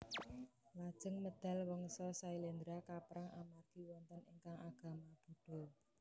Lajeng medal Wangsa Syailendra kapérang amargi wonten ingkang agama Buddha